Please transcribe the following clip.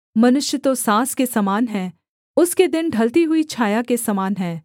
मनुष्य तो साँस के समान है उसके दिन ढलती हुई छाया के समान हैं